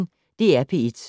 DR P1